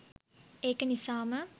ඒක නිසාම